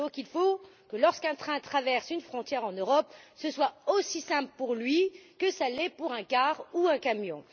Il faut donc que lorsqu'un train traverse une frontière en Europe, ce soit aussi simple pour lui que ça l'est pour un autocar ou pour un camion.